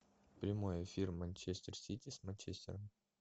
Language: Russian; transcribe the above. прямой эфир манчестер сити с манчестером